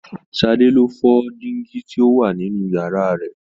Sade ni o fọ dingi tí o wà nínú yàrá rẹ̀.